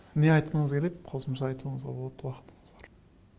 не айтқыңыз келеді қосымша айтуңызға болады уақытымыз бар